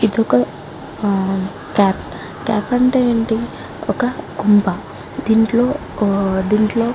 ఇది ఒక కేప్ కేప్ అంటే ఏంటి ఒక కొంప దీంట్లో ఊ దీంట్లో --